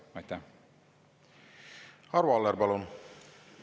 Arvo Aller, palun!